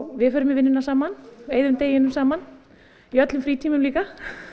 við förum í vinnuna saman og eyðum deginum saman í öllum frítímum líka